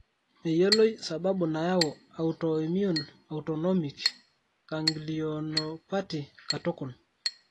Meyioloi sababu nayau autoimmune autonomic ganglionopatyh katukul.